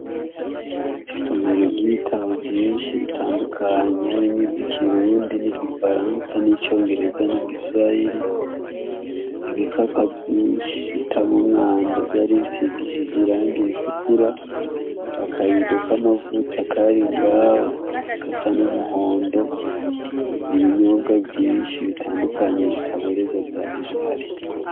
Isomero ry'ibitabo vyinshi bitandukanye harimw ivyo ikirundi n'igifaransa n'icongereza n'igiswayiri ibikapa vyinshi bita mumwanda vyaribisigishije irangi ritukura akabido k'amavuta kari ngawe gasa n'umuhondo ibinyubwa vyinshi bitandukanye bitaboreza vya ibihari.